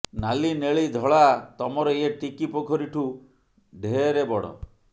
ନାଲି ନେଳି ଧଳା ତମର ଏ ଟିକି ପୋଖରୀ ଠୁଁ ଢ଼େରେ ବଡ଼